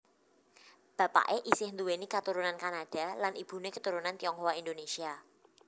Bapaké isih nduwéni katurunan Kanada lan ibuné keturunan Tionghoa Indonesia